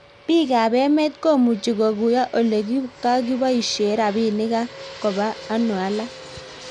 piik ab emet ko muchi koguyo ole kakiboishe rabinik ak koba ano alak